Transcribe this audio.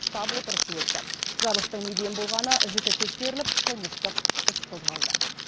штаб отырысы өтті жарылыстың неден болғаны жіті тексеріліп қылмыстық іс қозғалды